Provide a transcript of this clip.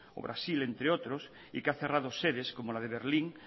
o brasil entre otros y que ha cerrado sedes como la de berlín